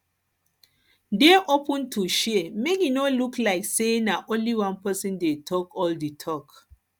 dey open to share make e no be like sey na only one person dey talk all di talk